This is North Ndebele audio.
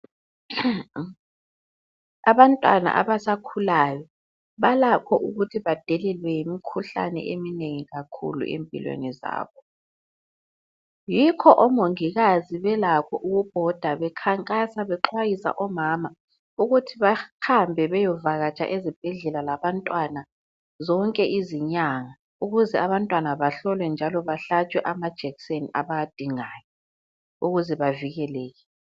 Abantwana abasakhulayo balakho ukuthi badelelwe yimikhuhlane eminengi kakhulu empilweni zabo, yikho omongikazi belakho ukubhoda bekhankasa bexwayisa omama ukuthi bahambe beyovakatsha ezibhedlela labantwana zonke izinyanga ukuze abantwana bahlolwe njalo bahlatshwe amajekiseni abawadingayo ukuze bavikeleke.